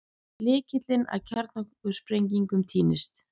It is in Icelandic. Lykillinn að kjarnorkusprengjunum týndist